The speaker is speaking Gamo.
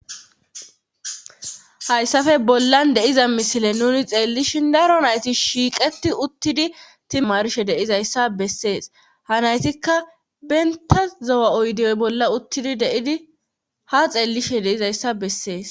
hayssafe bollan deiza misile nuni xeellishin daro nayti shiiqeti uttidi timarshe deizayssa bessees ha naytikka benta zowa oydiyoy bolla uttidi deidi ha xeellishe deizayssa bessees